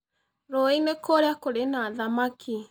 Rũũĩ-inĩ kũrĩa kũrĩ na thamaki.